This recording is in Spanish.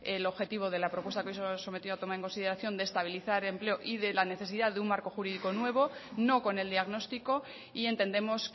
el objetivo de la propuesta que hoy se sometido a toma en consideración de estabilizar empleo y de la necesidad de un marco jurídico nuevo no con el diagnóstico y entendemos